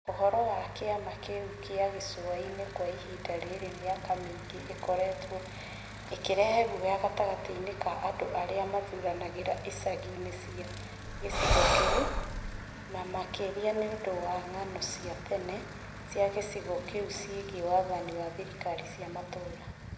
ũhoro wa kĩama kĩu kĩa gĩcũa-inĩ kwa ihinda rĩa mĩaka mingĩ nĩ ũkoretwo ũkĩrehe guoya gatagatĩ ka andũ arĩa mathuranagĩra icagi-inĩ cia gĩcigo kĩu, na makĩria nĩ ũndũ wa ng'ano cia tene cia gĩcigo kĩu cĩĩgĩ wathani wa thirikari cia matũũra.